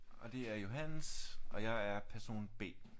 Og det er Johannes og det er person B